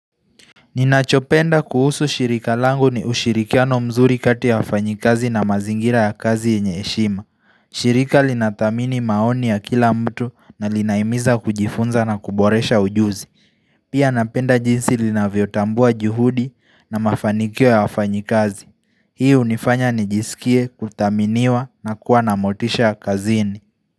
Ninachopenda kuhusu shirika langu ni ushirikiano mzuri kati ya wafanyikazi na mazingira ya kazi yenye heshima. Shirika linatamini maoni ya kila mtu na linaimiza kujifunza na kuboresha ujuzi. Pia napenda jinsi linavyotambua juhudi na mafanikio ya wafanyikazi. Hii unifanya nijisikie, kutaminiwa na kuwa namotisha kazini.